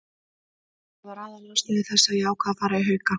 Það var aðalástæða þess að ég ákvað að fara í Hauka.